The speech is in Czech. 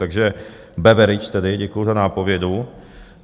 Takže Beveridž tedy, děkuju za nápovědu.